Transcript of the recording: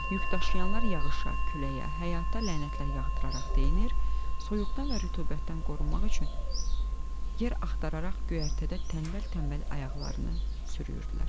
Yükdaşıyanlar yağışa, küləyə, həyata lənətlər yağdıraraq deyinir, soyuqdan və rütubətdən qorunmaq üçün yer axtararaq göyərtədə tənbəl-tənbəl ayaqlarını sürüyürdülər.